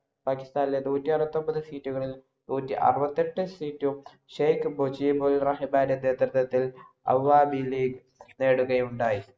പാകിസ്ഥാനിലെ നൂറ്റി അറുപത്തിഒമ്പത്‌ seat കളില്‍ നൂറ്റിഅറുപത്തിഎട്ട് seat ഉം ഷെയ്ഖ് മുജീബുർറഹ്മാന്‍റെ എന്ന നേതൃത്വത്തില്‍ അവാമി ലീഗ് നേടുകയുണ്ടായി.